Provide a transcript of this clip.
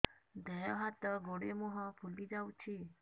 ଦେହ ହାତ ଗୋଡୋ ମୁହଁ ଫୁଲି ଯାଉଛି